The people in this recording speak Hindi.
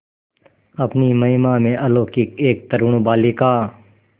अपनी महिमा में अलौकिक एक तरूण बालिका